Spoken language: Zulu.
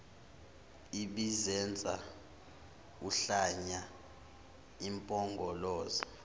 ebizenza uhlanya impongoloza